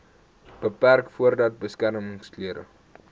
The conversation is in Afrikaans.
beperk voordat beskermingsklere